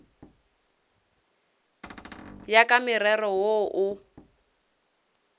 ya ka morero wo o